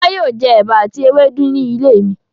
Fọlá yóò jẹ ẹ̀bà àti ewédú nílé mi.